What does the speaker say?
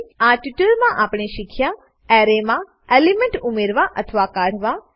આ ટ્યુટોરીયલ માં આપણે શીખ્યા એરેમાં એલિમેન્ટ ઉમેરવા અથવા કાઢવા